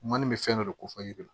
Maani bɛ fɛn dɔ de ko fɔ yiri